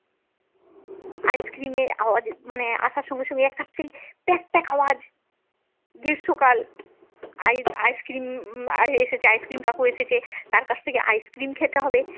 ice cream এর আওয়াজে মানে আসার সঙ্গে সঙ্গেই একটা যে প্যাক প্যাক আওয়াজ গ্রীষ্মকাল ice cream উম এসেছে ice cream কাকু এসেছে তার কাছ থেকে আইসক্রিম খেতে হবে।